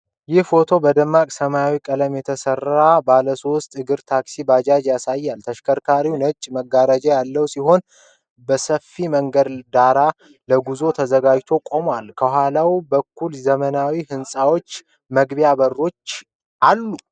ይህ ፎቶ በደማቅ ሰማያዊ ቀለም የተሠራ ባለሶስት እግር ታክሲን (ባጃጅ) ያሳያል። ተሽከርካሪው ነጭ መጋረጃ ያለው ሲሆን፥ በሰፋፊ መንገድ ዳር ለጉዞ ተዘጋጅቶ ቆሟል። ከኋላ በኩል የዘመናዊ ሕንጻዎች መግቢያ በሮች ይታያሉ።